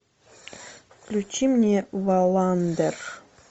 включи мне валландер